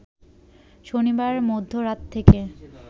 শনিবার মধ্যরাত থেকে